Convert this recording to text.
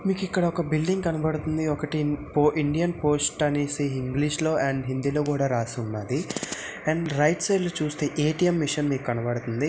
మీకు ఇక్కడ ఒక బిల్డింగ్ కనబడుతుంది ఒకటి ఇండియన్ పోస్ట్ అనేసి ఇంగ్లీషులో అండ్ హిందీలో కూడా రాస్తున్నది అండ్ రైట్ సైడ్ లో చూస్తే ఏ_టీ_ఎం మెషిన్ మీకు కనబడుతుంది.